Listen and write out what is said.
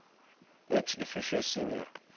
ex officio senior